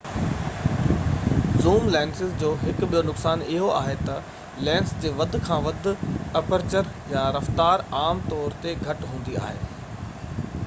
zoom lenses جو هڪ ٻيو نقصان اهو آهي ته لينس جي وڌ کان وڌ اپرچر رفتار عام طور تي گهٽ هوندي آهي